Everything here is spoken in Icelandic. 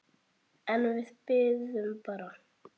En við biðum bara.